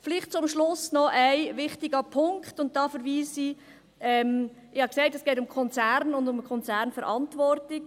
Vielleicht zum Schluss noch ein wichtiger Punkt: Ich habe gesagt, es gehe um Konzerne und Konzernverantwortung.